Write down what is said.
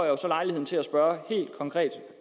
jo så lejligheden til at spørge